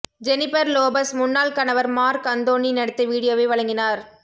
Jennifer Lopez முன்னாள் கணவர் Marc Anthony நடித்த வீடியோவை வழங்கினார்